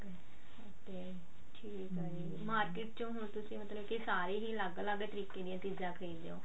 ok ਠੀਕ ਆ ਜੀ market ਚੋਂ ਹੁਣ ਤੁਸੀਂ ਮਤਲਬ ਕੀ ਸਾਰੀ ਹੀ ਅਲੱਗ ਅਲੱਗ ਤਰੀਕੇ ਦੀਆਂ ਚੀਜ਼ਾਂ ਖਰੀਦ ਦੇ ਹੋ